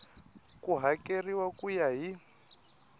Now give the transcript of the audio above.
ku hakeriwa ku ya hi